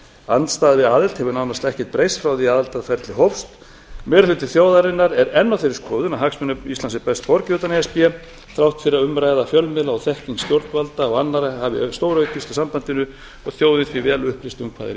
andstaða við aðild hefur nánast ekkert breyst frá því að aðildarferlið hófst meiri hluti þjóðarinnar er enn á þeirri skoðun að hagsmunum íslands sé best borgið utan e s b þrátt fyrir að umræða fjölmiðla og þekking stjórnvalda og annarra hafi stóraukist á sambandinu og þjóðin því vel upplýst um hvað er í